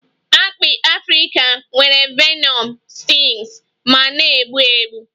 Akpị Afrika nwere venom stings ma na-egbu egbu